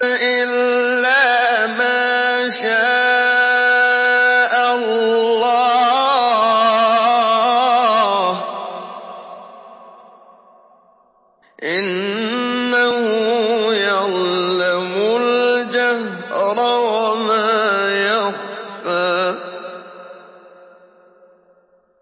إِلَّا مَا شَاءَ اللَّهُ ۚ إِنَّهُ يَعْلَمُ الْجَهْرَ وَمَا يَخْفَىٰ